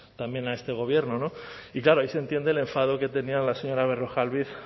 también a este gobierno y claro ahí se entiende el enfado que tenía la señora berrojalbiz